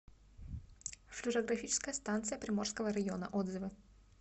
флюорографическая станция приморского района отзывы